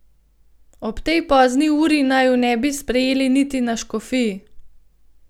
Ob tej pozni uri naju ne bi sprejeli niti na škofiji.